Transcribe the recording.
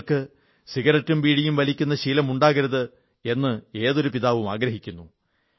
മക്കൾക്ക് സിഗരറ്റും ബീഡിയും വലിക്കുന്ന ശീലമുണ്ടാകരുത് എന്നാഗ്രഹിക്കുന്നു